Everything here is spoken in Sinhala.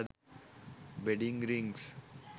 wedding rings